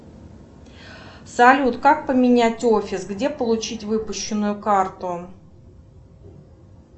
салют как поменять офис где получить выпущенную карту